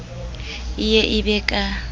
e ye e be ka